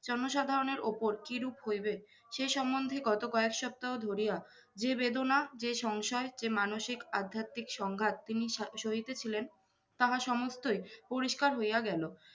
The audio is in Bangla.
জনসাধারণের ওপর কি রূপ হইবে, সে সম্বন্ধে গত কয়েক সপ্তাহ ধরিয়া যে বেদনা, যে সংশয়, যে মানুষিক-আধ্যাত্বিক সংঘাত তিনি সা~ সহিতে ছিলেন, তাহা সমস্তই পরিষ্কার হইয়া গেলো।